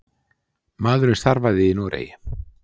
Maðurinn starfaði í Noregi.